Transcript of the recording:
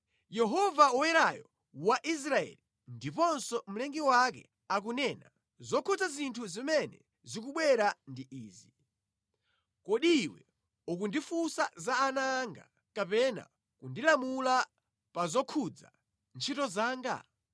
“Yehova Woyerayo wa Israeli, ndiponso Mlengi wake akunena, zokhudza zinthu zimene zikubwera ndi izi: Kodi iwe ukundifunsa za ana anga, kapena kundilamula pa zokhudza ntchito zanga?